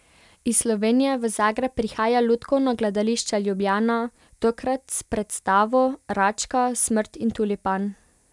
Iz Slovenije v Zagreb prihaja Lutkovno gledališče Ljubljana, tokrat s predstavo Račka, Smrt in tulipan.